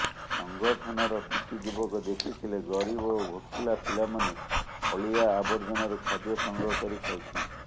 ସଂଗଠନର କିଛି ଯୁବକ ଦେଖିଥିଲେ ଗରିବ ଓ ଭୋକିଲା ପିଲାମାନେ ଅଳିଆ ଆବର୍ଜନାରୁ ଖାଦ୍ୟ ସଂଗ୍ରହ କରି ଖାଉଛନ୍ତି